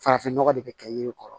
Farafin nɔgɔ de bɛ kɛ yiri kɔrɔ